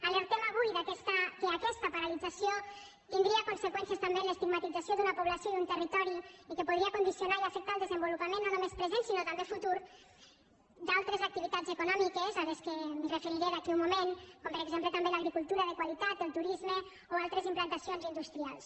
alertem avui que aquesta paralització tindria conseqüències també en l’estigmatització d’una població i un territori i que podria condicionar i afectar el desenvolupament no només present sinó també futur d’altres activitats econòmiques a les quals em referiré d’aquí a un moment com per exemple també l’agricultura de qualitat el turisme o altres implantacions industrials